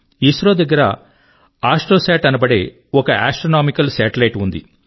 ఇస్రో దగ్గర ఆస్ట్రోసాట్ అనబడే ఒక ఆస్ట్రోనామికల్ సాటెలైట్ ఉంది